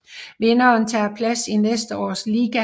Vinderen tager plads i næste års liga